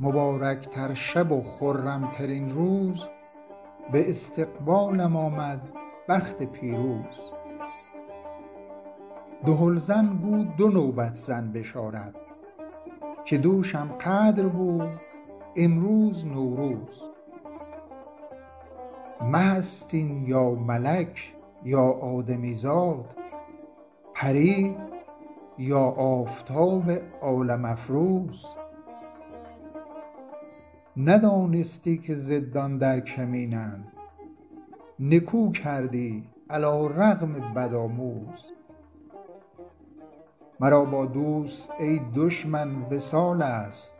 مبارک تر شب و خرم ترین روز به استقبالم آمد بخت پیروز دهل زن گو دو نوبت زن بشارت که دوشم قدر بود امروز نوروز مه است این یا ملک یا آدمی زاد پری یا آفتاب عالم افروز ندانستی که ضدان در کمینند نکو کردی علی رغم بدآموز مرا با دوست ای دشمن وصال است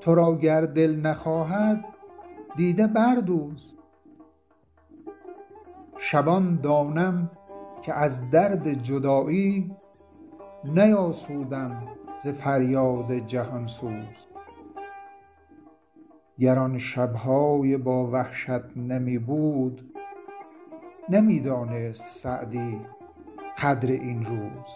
تو را گر دل نخواهد دیده بردوز شبان دانم که از درد جدایی نیاسودم ز فریاد جهان سوز گر آن شب های با وحشت نمی بود نمی دانست سعدی قدر این روز